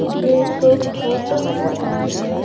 ये एक फोटो है और--